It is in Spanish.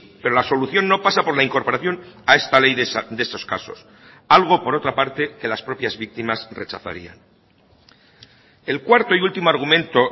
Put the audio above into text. pero la solución no pasa por la incorporación a esta ley de estos casos algo por otra parte que las propias víctimas rechazarían el cuarto y último argumento